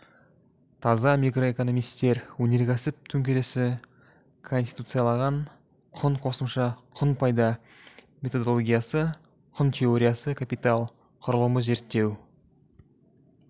таза микроэкономистер өнеркәсіп төңкерісі конституцияланған құн қосымша құн пайда методологиясы құн теориясы капитал құрылымы зерттеу